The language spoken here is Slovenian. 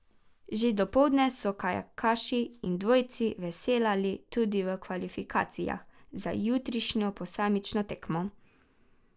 Že dopoldne so kajakaši in dvojci veslali tudi v kvalifikacijah za jutrišnjo posamično tekmo.